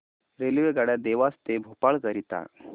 रेल्वेगाड्या देवास ते भोपाळ करीता